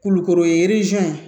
Kulukoro ye